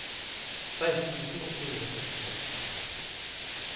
seksten tusen åtte hundre og sekstiseks